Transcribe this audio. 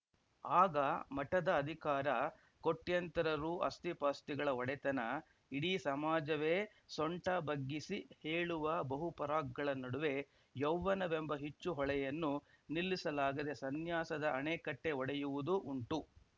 ಆಗ ಮಠದ ಅಧಿಕಾರ ಕೋಟ್ಯಂತರ ರು ಆಸ್ತಿಪಾಸ್ತಿಗಳ ಒಡೆತನ ಇಡೀ ಸಮಾಜವೇ ಸೊಂಟ ಬಗ್ಗಿಸಿ ಹೇಳುವ ಬಹುಪರಾಕ್‌ಗಳ ನಡುವೆ ಯೌವ್ವನವೆಂಬ ಹುಚ್ಚುಹೊಳೆಯನ್ನು ನಿಲ್ಲಿಸಲಾಗದೆ ಸನ್ಯಾಸದ ಅಣೆಕಟ್ಟೆಒಡೆಯುವುದೂ ಉಂಟು